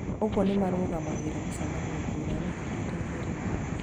Ũguo nĩmarũmagĩrĩra mĩcemanio ngũrani ihindainĩ rĩmwe